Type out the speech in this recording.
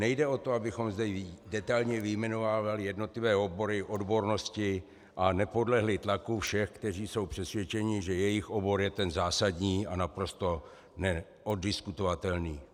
Nejde o to, abychom zde detailně vyjmenovávali jednotlivé obory, odbornosti a nepodlehli tlaku všech, kteří jsou přesvědčeni, že jejich obor je ten zásadní a naprosto neoddiskutovatelný.